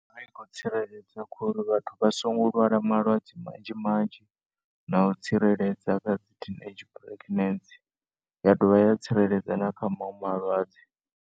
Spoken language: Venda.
A ikho tsiredza khori vhathu vhasongo lwala malwedze manzhi manzhi na u tsireledza kha dzi teenage pregnancy ya dovha ya tsireledza nakha manwe malwadze.